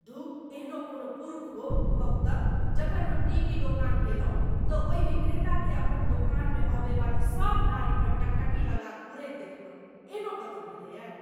धुः एहनो किओ पुरुष हो, कहू तऽ जखन हम टीवी दोकान गेलहुँ तँ ओहि विक्रेताकेँ अपन दोकानमे अबैवाली सब नारिपर टकटकी लगा घूरैत देखलहुँ, एहनो कतौ भेलैये।